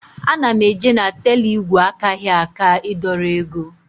Ana m eje na teller ígwè akaghị aka ị dọrọ ego